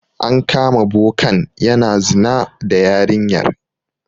An kama bokan yana zina da yarinyar.